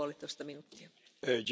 Pani Przewodnicząca!